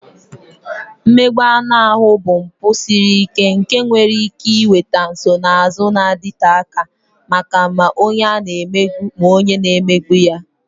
Mmegbu anụ ahụ bụ mpụ siri ike nke nwere ike ị nweta nsonaazụ na-adịte aka maka ma onye a na-emegbu ma onye na-emegbu ya.